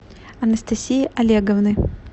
анастасии олеговны